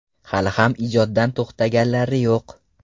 Hali ham ijoddan to‘xtaganlari yo‘q.